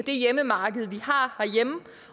hjemmemarked